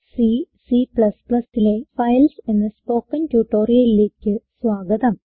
C C ലെ files എന്ന spoken ട്യൂട്ടോറിയലിലേക്ക് സ്വാഗതം